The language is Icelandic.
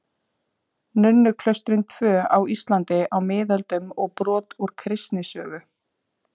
Nunnuklaustrin tvö á Íslandi á miðöldum og brot úr kristnisögu.